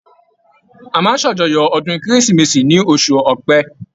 A máa ń ṣàjọyọ̀ ọdún Kérésìmesì ní oṣụ̀ Ọ̀pẹ.